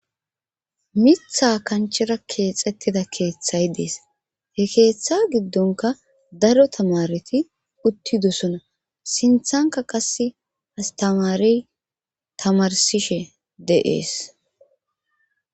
Mitha kanchera keexettida keethay dees he keetha giddonkka daro tamaareti uttidosana sinthankka qasse asttamaarey tamarssishe de7ees.